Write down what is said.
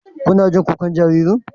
Kuna jin kukan jaririn?